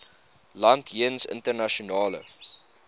land jeens internasionale